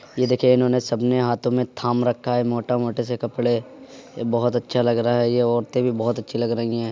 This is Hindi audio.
ये देखिए इन्होंने सब ने हाथों में थाम रखा है मोटा मोटे से कपडे। ये बहुत अच्छा लग रहा है। ये औरतें भी बहुत अच्छी लग रही है।